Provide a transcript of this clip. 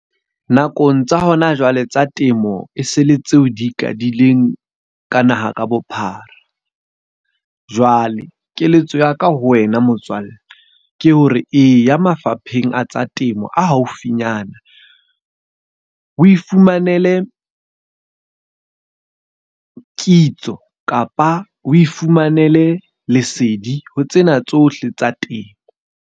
Nakong tsa hona jwale tsa temo, e se le tseo di ikadileng ka naha ka bophara. Jwale keletso ya ka ho wena motswalle ke hore eya mafapheng a tsa temo a haufinyana. O ifumanele kitso kapa o ifumanele lesedi ho tsena tsohle tsa temo.